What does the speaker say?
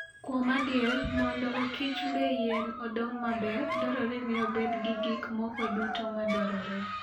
Kuom adier, mondo okichmb yien odong maber, dwarore ni obed gi gik moko duto madwarore.